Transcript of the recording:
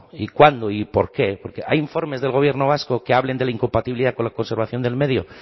y cuándo y por qué porque hay informes del gobierno vasco que hablen de la incompatibilidad con la conservación del medio